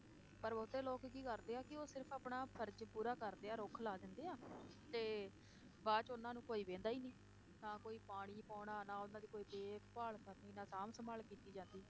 ਪਰ ਬਹੁਤੇ ਲੋਕ ਕੀ ਕਰਦੇ ਆ ਕਿ ਉਹ ਸਿਰਫ਼ ਆਪਣਾ ਫ਼ਰਜ਼ ਪੂਰਾ ਕਰਦੇ ਆ ਰੁੱਖ ਲਾ ਦਿੰਦੇ ਆ ਤੇ ਬਾਅਦ 'ਚ ਉਹਨਾਂ ਨੂੰ ਕੋਈ ਵਹਿੰਦਾ ਹੀ ਨੀ, ਨਾ ਕੋਈ ਪਾਣੀ ਪਾਉਣਾ, ਨਾ ਉਹਨਾਂ ਦੀ ਕੋਈ ਦੇਖਭਾਲ ਕਰਨੀ, ਨਾ ਸਾਂਭ ਸੰਭਾਲ ਕੀਤੀ ਜਾਂਦੀ।